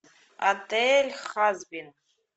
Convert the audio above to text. отель хазбин